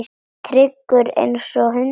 Tryggur einsog hundur.